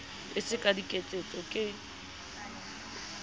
e se ka diketso ke